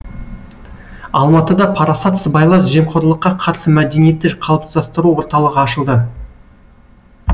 алматыда парасат сыбайлас жемқорлыққа қарсы мәдениетті қалыптастыру орталығы ашылды